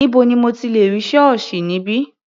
Níbo ni mo ti lẹ̀ rí ṣọ́ọ̀ṣì níbí?